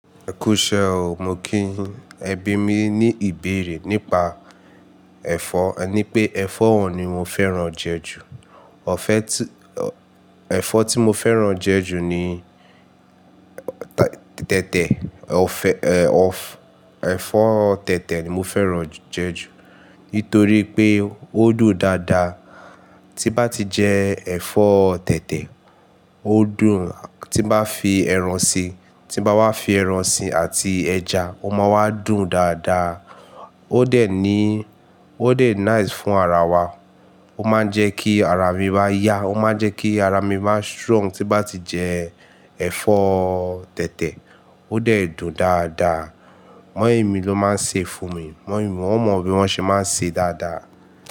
Ẹ kú iṣẹ́ o, mo kí yin ẹ bí mi ní ìbéèrè nípa ẹ̀fọ́. E ní pé ẹ̀fọ́ wo ni mo fẹ́ràn jẹ ju. Ọ̀fẹ́ tí, ẹ̀fọ́ tí mo fẹ́ràn jẹ ju ní tẹ̀tẹ̀, ẹ̀fọ́, ọ̀f-- ẹ̀fọ́ tẹ̀tẹ̀ ni mo fẹ́ràn jẹ ju nítorí pé ó dùn dáadáa. Tí bá ti jẹ ẹ̀fọ́ tẹ̀tẹ̀, ó dùn. Tí n bá fi ẹran si, tí n bá wá fi ẹran si àti ẹja, ó máa wá dùn dáadáa. Ó dẹ̀ ní, ó dẹ̀ nice fún ara wa. Ó máa ń jẹ kí ara mi maá yá, ó máa ń jẹ kí ara mi má strong. Tí bá ti jẹ ẹ̀fọ́ tẹ̀tẹ̀, ó dẹ̀ dùn dáadáa. Mọ́ìmí ló máa ń sè e fún mi. Mọ́ìmí wọ́n mọ bí wọ́n ṣe máa ń sè e dáadáa.